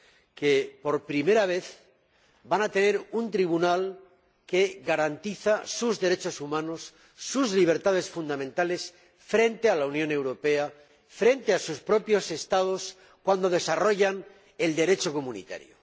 que, por primera vez, van a tener un tribunal que garantiza sus derechos humanos, sus libertades fundamentales, frente a la Unión Europea, frente a sus propios Estados, cuando desarrollan el Derecho comunitario.